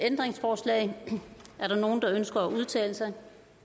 ændringsforslag er der nogen der ønsker at udtale sig